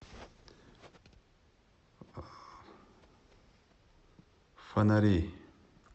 фонари